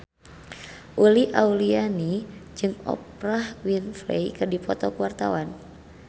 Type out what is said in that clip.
Uli Auliani jeung Oprah Winfrey keur dipoto ku wartawan